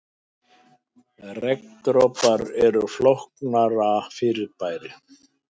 Regndropar eru flóknara fyrirbæri.